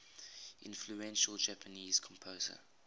influential japanese composer